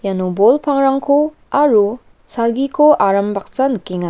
iano bol pangrangko aro salgiko aram baksa nikenga.